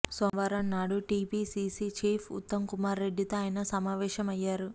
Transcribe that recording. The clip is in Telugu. సోమవారం నాడు టీపీసీసీ చీఫ్ ఉత్తమ్ కుమార్ రెడ్డితో ఆయన సమావేశమయ్యారు